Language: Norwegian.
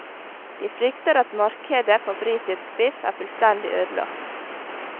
De frykter at markedet for britisk biff er fullstendig ødelagt.